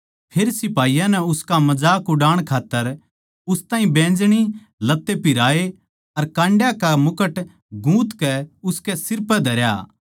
फेर सिपाहियाँ नै उसका मजाक उड़ाण खात्तर उस ताहीं बैंजनी लत्ते पिहराए अर काण्डयाँ का मुकुट गूँथकै उसकै सिर पै धरया